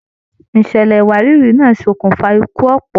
Ìṣẹlẹ iwarìri náa sokun fà ikú ọpọ.